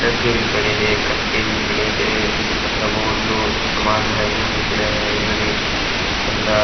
डब्बे भी पड़े है कटे भी पड़े है मतलब वो जो सामान है वो भी पड़ा है उधर एक बाँदा --